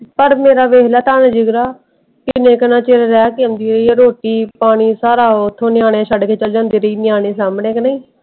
ਤੜਫ ਮੇਰਾ ਵੇਖਲਯਾ ਤਾਂ ਵੀ ਜਿਗਰਾ ਕੀਨੇ ਕਿੰਨਾ ਚਿਰ ਰਹਿ ਕ ਆਉਂਦੀ ਏ ਰੋਟੀ ਪਾਣੀ ਸਾਰਾ ਓਥੋਂ ਨਿਆਣੇ ਛੱਡ ਕੇ ਚਾਲੀ ਜਾਂਦੀ ਏ ਨਿਆਣੇ ਸਾਂਭਣੇ ਨੇ ਕ ਨਹੀਂ।